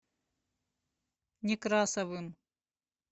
некрасовым